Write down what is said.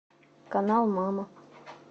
канал мама